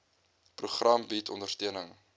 program bied ondersteuning